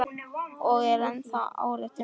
Og er ennþá áréttar hún.